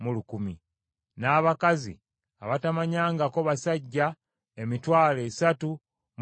n’abakazi abatamanyangako basajja emitwalo esatu mu enkumi bbiri (32,000).